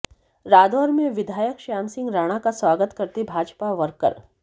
रादौर में विधायक श्याम सिंह राणा का स्वागत करते भाजपा वर्कर